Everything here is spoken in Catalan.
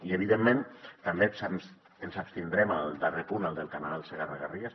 i evidentment també ens abstindrem al darrer punt al del canal segarra garrigues